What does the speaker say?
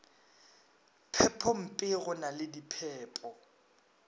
phepompe go na le diphepo